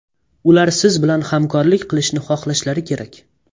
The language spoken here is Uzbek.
Ular siz bilan hamkorlik qilishni xohlashlari kerak.